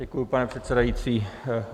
Děkuji, pane předsedající.